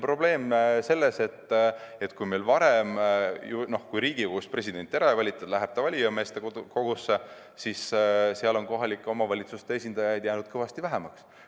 Probleem on selles, et kui varem Riigikogus presidenti ära ei valitud, läks see valijameeste kogusse, aga seal on kohalike omavalitsuste esindajaid jäänud kõvasti vähemaks.